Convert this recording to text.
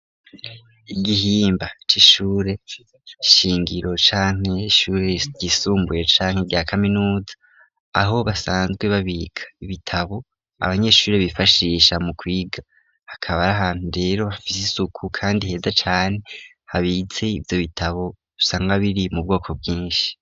Igihimba c'ishure shingiro canke ishure ryisumbuye canke rya kaminuza aho basanzwe babika ibitabo abanyeshuri bifashisha mu kwiga, hakaba ari ahantu rero hafite isuku kandi heza cane habitse ivyo bitabo usanga biri mu bwoko bwinshi.